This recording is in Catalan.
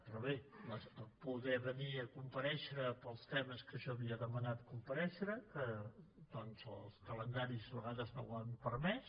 però bé poder venir a comparèixer pels temes que jo havia demanat comparèixer que doncs els calendaris de vegades no ho han permès